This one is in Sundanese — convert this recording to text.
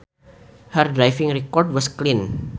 Her driving record was clean